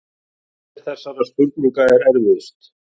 Hver þessara spurninga er erfiðust?